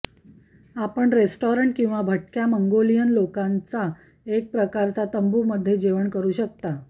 आपण रेस्टॉरंट किंवा भटक्या मंगोलियन लोकांचा एक प्रकारचा तंबू मध्ये जेवण करू शकता